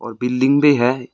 और बिल्डिंग भी है।